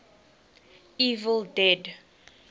evil dead